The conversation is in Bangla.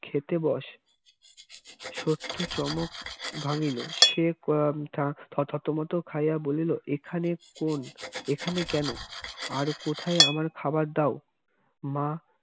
খেতে বস সত্যর চমক ভাঙিল সে থতমত খাইয়া বলিল এখানে কোন এখানে কেন আর কোথায়ে আমার খাবার দাও মা